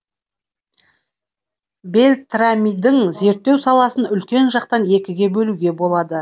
бельтрамидің зерттеу саласын үлкен жақтан екіге бөлуге болады